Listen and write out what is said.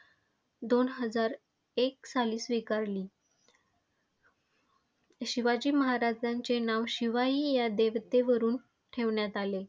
दोन हजार एक साली स्वीकारली. शिवाजी महाराजांचे नाव शिवाई ह्या देवतेवरून ठेवण्यात आले.